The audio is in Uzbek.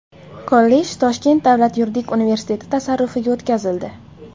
Kollej Toshkent davlat yuridik universiteti tasarrufiga o‘tkazildi.